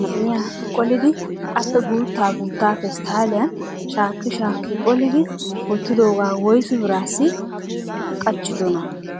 maxiniyaa qollidi appe guutta guutta pesttaliyan shaaki shaaki qolidi wottidooga woyssu birassi qachchidona?